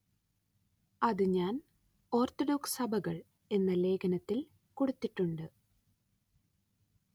അത് ഞാന്‍ ഓര്‍ത്തഡോക്സ് സഭകള്‍ എന്ന ലേഖനത്തില്‍ കൊടുത്തിട്ടുണ്ട്